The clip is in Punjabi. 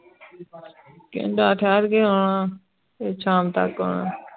ਕੈਨਡਾ ਥੇਰ ਕੇ ਆਉਣਾ ਆਉਣਾ ਸ਼ਾਮ ਤਕ ਆਉਣਾ